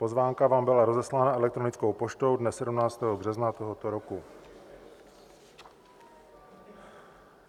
Pozvánka vám byla rozeslána elektronickou poštou dne 17. března tohoto roku.